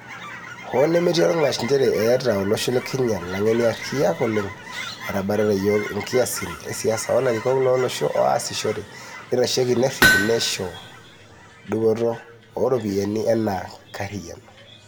Hoo nemetii olngash njere eeta olosho le Kenya langeni ariak oleng, etabatata iyiok inkasisin e siasa o larikok lo losho aasishore, neitasheki, nerip nesho dupoto o ropiyiani ena kariyiano.